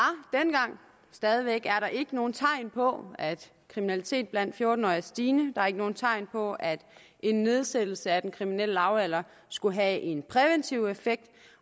stadig væk er der ikke nogen tegn på at kriminalitet blandt fjorten årige er stigende der er ikke nogen tegn på at en nedsættelse af den kriminelle lavalder skulle have en præventiv effekt